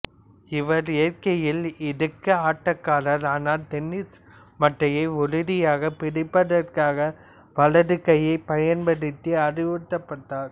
இவர் இயற்கையில் இடக்கை ஆட்டக்காரர் ஆனால் டென்னிசு மட்டையை உறுதியாக பிடிப்பதற்காக வலது கையை பயன்படுத்த அறிவுறுத்தப்பட்டார்